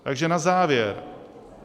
Takže na závěr.